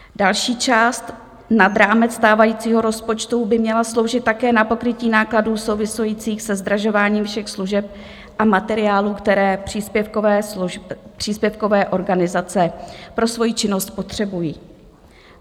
Další část nad rámec stávajícího rozpočtu by měla sloužit také na pokrytí nákladů souvisejících se zdražováním všech služeb a materiálů, které příspěvkové organizace pro svoji činnost potřebují.